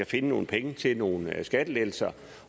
finde nogle penge til nogle skattelettelser